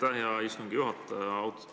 Aitäh, hea istungi juhataja!